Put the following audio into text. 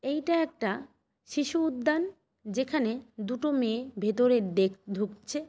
এইটা একটা শিশু উদ্যান। যেখানে দুটো মেয়ে ভেতরে ডে ঢুকছে।